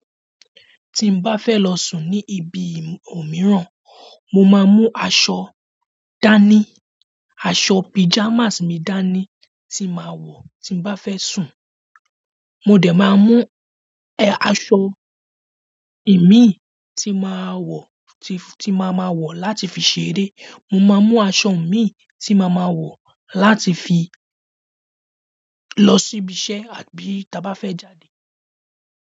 Tí n bá fẹ́ lọ sùn ní ibi òmíràn, mo máa mú aṣọ dání, aṣọ pajamas mi dání tí màa wọ tí n bá fẹ́ sùn. Mo dè máa mú, e! Aṣọ imí tí màá wọ, tí, tí màá ma wọ láti fi ṣeré. Mo máa mú aṣọ mi tí màá ma wọ láti fi lọ síbi iṣẹ́ àbí bí ta bá fẹ́ jáde.